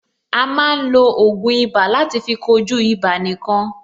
A máa ń lo ògùn ibà láti fí kojú ibà nìkan.